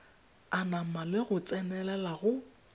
anama le go tsenelela go